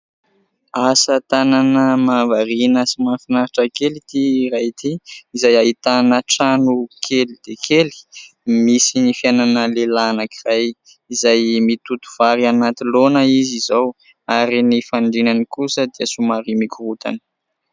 Asa tanana mahavariana sy mahafinaritra kely ity iray ity , izay ahitana trano kely dia kely misy ny fiainana lehilahy anankiray izay mitoto vary anaty laona izy izao. Ary ny fandrinany kosa dia somary mikorontana.